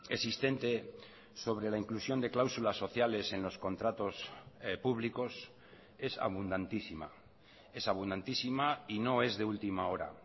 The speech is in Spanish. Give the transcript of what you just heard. existente sobre la inclusión de cláusulas sociales en los contratos públicos es abundantísima es abundantísima y no es de última hora